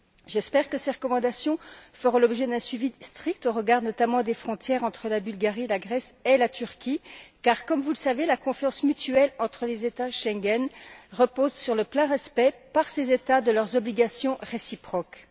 J'espère que ces recommandations feront l'objet d'un suivi strict au regard notamment des frontières entre la Bulgarie, la Grèce et la Turquie car, comme vous le savez, la confiance mutuelle entre les États Schengen repose sur le plein respect, par ces États, de leurs obligations réciproques.